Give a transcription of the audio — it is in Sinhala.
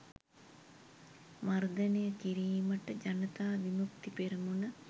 මර්ධනය කිරීමට ජනතා විමුක්ති පෙරමුණ